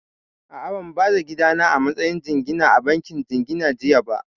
A'a, ban ba da gidana a matsayin jingina a bankin jingina jiya ba